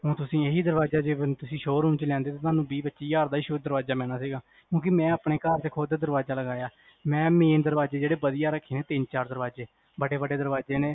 ਊ ਤੁਸੀ ਇਹੀ ਦਰਵਾਜ਼ਾ ਜੇ ਸ਼ੋਅਰੂਮ ਚ ਲੈਂਦੇ ਤਾਂ ਤੁਹਾਨੂੰ ਵੀਹ ਪੱਚੀ ਹਾਜ਼ਰ ਦਾ ਸਿਰਫ ਦਰਵਾਜ਼ਾ ਪੈਣਾ ਸੀਗਾ ਕਿਓਂਕਿ ਮੈਂ ਆਪਣੇ ਘਰ ਚ ਖੁਦ ਦਰਵਾਜ਼ਾ ਲਗਾਇਆ ਮੈਂ ਮੇਨ ਦਰਵਾਜ਼ੇ ਜਿਹੜੇ ਵਧਿਆ ਰੱਖੇ ਤਿੰਨ ਚਾਰ ਦਰਵਾਜ਼ੇ, ਵੱਡੇ -ਵੱਡੇ ਦਰਵਾਜ਼ੇ ਨੇ